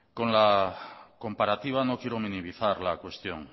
con la comparativa no quiero minimizar la cuestión